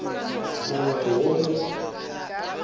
mongwe le yo mongwe wa